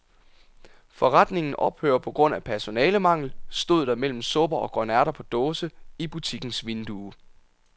Forretningen ophører på grund af personalemangel, stod der mellem supper og grønærter på dåse i butikkens vindue.